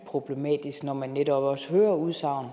problematisk når man netop også hører udsagn